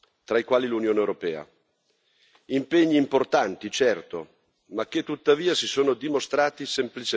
Impegni importanti, certo, ma che tuttavia si sono dimostrati semplicemente specchietti per le allodole.